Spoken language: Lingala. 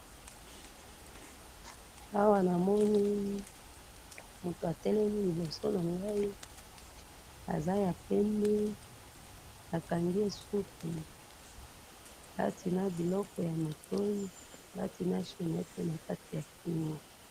Awa namoni, motu atelemi liboso na ngai, aza ya pembe, bakangi ye suki, alati na biloko ya matoyi, alati na chaînette na kati ya Kingo.